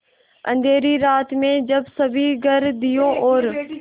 अँधेरी रात में जब सभी घर दियों और